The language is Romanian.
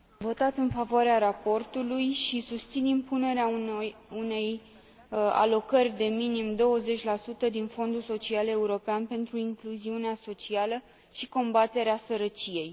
Am votat în favoarea raportului și susțin impunerea unei alocări de minim 20 din Fondul social european pentru incluziunea socială și combaterea sărăciei.